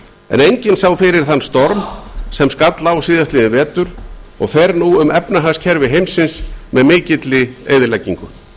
en enginn sá fyrir þann storm sem skall á síðastliðinn vetur og fer nú um efnahagskerfi heimsins með mikilli eyðileggingu